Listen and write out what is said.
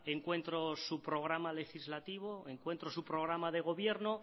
encuentro su programa legislativo encuentro su programa de gobierno